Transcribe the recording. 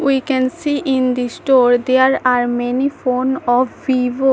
We can see in the store there are many phone of vivo.